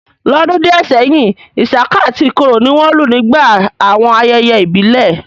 L'ọ́dún díẹ̀ sẹ́yìn, isaka àti ikoro ni wọ́n lù nígbà àwọn ayẹyẹ ìbílẹ̀